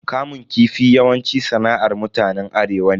Kamun kifi yawanci sana'ar mutanen arewa ne.